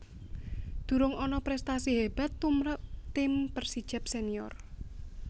Durung ana prèstasi hébat tumrap tim Persijap Senior